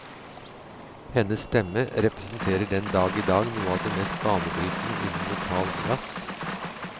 Hennes stemme representerer den dag i dag noe av det mest banebrytende innen vokal jazz.